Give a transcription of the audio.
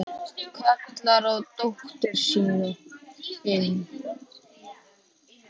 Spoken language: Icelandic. Kallar á dóttur sína inn.